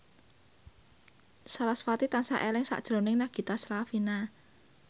sarasvati tansah eling sakjroning Nagita Slavina